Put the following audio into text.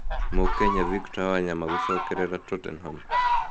Mũkenya Victor Wanyama gũcokerera Tottenham